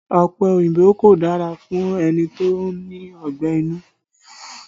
Ọ̀pẹ òyìnbó kò dára fún ẹni tó ní ọgbẹ́ inú